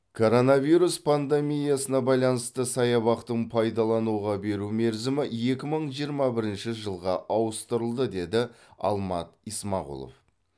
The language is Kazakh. коронавирус пандемиясына байланысты саябақтың пайдалануға беру мерзімі екі мың жиырма бірінші жылға ауыстырылды деді алмат исмағұлов